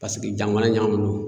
Paseke jamana ɲagamuni no.